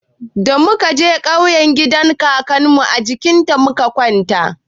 Da muka je ƙauye gidan kakanmu a jinƙa muka kwana.